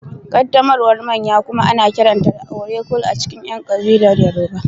Ƙaddamarwar manya kuma ana kiranta da Oro-cult a cikin ƴan kabilar Yoruba